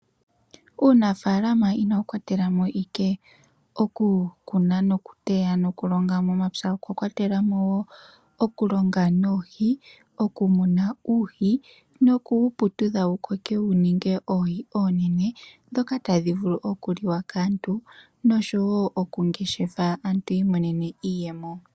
Uunafaalama inawu kwatela mo ashike okukuna, okuteya nokulonga momapya, okwa kwatela mo wo okulonga noohi, okumuna uuhi noku wu putudha wu koke wu ninge oohi oonene ndhoka tadhi vulu okuliwa kaantu nosho wo okungeshefwa aantu yi imonene mo iiyemo.